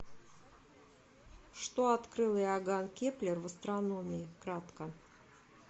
что открыл иоганн кеплер в астрономии кратко